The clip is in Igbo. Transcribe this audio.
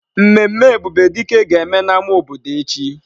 Mmemme Ebubedike ga-eme na-ama obodo echi.